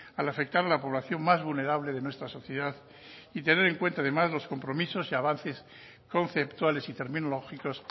al afectar la población más vulnerable de nuestra sociedad y tener en cuenta además los compromisos y avances conceptuales y terminológicos